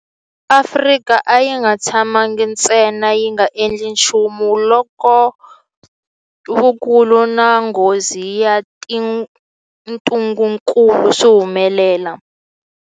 Afrika a yi nga tshamangi ntsena yi nga endli nchumu loko vukulu na nghozi ya ntungukulu swi humelela.